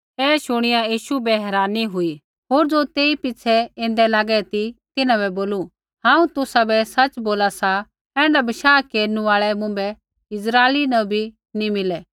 ऐ शुणिया यीशु बै हैरानी हुई होर ज़ो तेई पिछ़ै ऐन्दै लागै ती तिन्हां बै बोलू हांऊँ तुसाबै सच बोला सा ऐण्ढा बशाह केरनु आल़ै मुँभै इस्राइला न भी नी मिलै